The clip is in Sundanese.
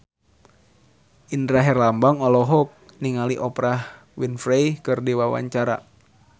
Indra Herlambang olohok ningali Oprah Winfrey keur diwawancara